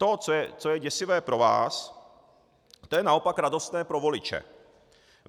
To, co je děsivé pro vás, to je naopak radostné pro voliče.